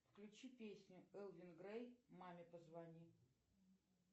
включи песню элвин грей маме позвони